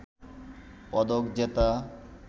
পদক জেতা